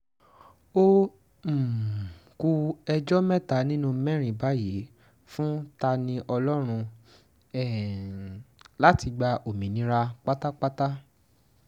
ó um ku ẹjọ́ mẹ́ta nínú mẹ́rin báyìí fún ta-ni-ọlọ́run um láti gba òmìnira pátápátá